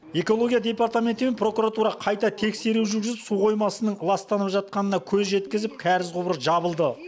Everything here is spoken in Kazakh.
экологоия департаменті мен прокуратура қайта тексеру жүргізіп су қоймасының ластанып жатқанына көз жеткізіп кәріз құбыры жабылды